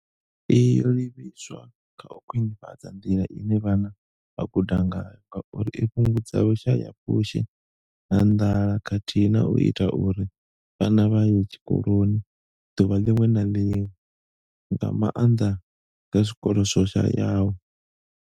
Iyi yo livhiswa kha u khwinifhadza nḓila ine vhana vha guda ngayo ngauri i fhungudza vhushayapfushi na nḓala khathihi na u ita uri vhana vha ye tshikoloni ḓuvha ḽiṅwe na ḽiṅwe, nga maanḓa kha zwikolo zwo shayaho.